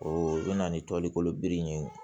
O bɛ na ni toli kolo biri ye